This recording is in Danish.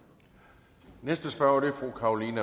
venstrefløjen